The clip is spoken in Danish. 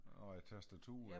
Nå ja tastaturet